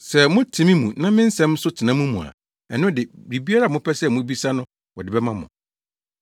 Sɛ mote me mu na me nsɛm nso tena mo mu a, ɛno de, biribiara a mopɛ a mubebisa no wɔde bɛma mo.